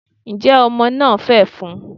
njẹ Omo na fefún?